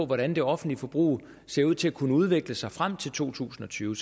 hvordan det offentlige forbrug ser ud til at kunne udvikle sig frem til to tusind og tyve